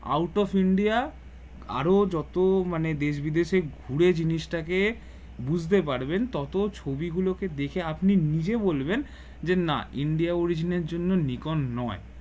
out of India আরো যত মানে দেশ বিদেশে ঘুরে জিনিস টাকে বুঝতে পারবেন তত ছবি গুলোকে দেখে আপনি নিজে বলবেন যে না ইন্ডিয়া India origin এর জন্য নিকোন নয়